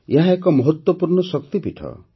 ଏହା ଏକ ମହତ୍ତ୍ୱପୂର୍ଣ୍ଣ ଶକ୍ତିପୀଠ